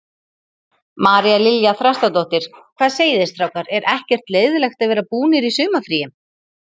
María Lilja Þrastardóttir: Hvað segiði strákar, er ekkert leiðinlegt að vera búnir í sumarfríi?